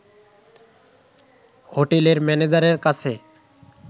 হোটেলের ম্যানেজারের কাছে